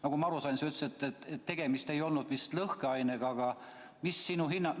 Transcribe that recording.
Nagu ma aru sain, siis sa ütlesid, et tegemist ei olnud vist lõhkeainega, aga mis sinu hinnangul ...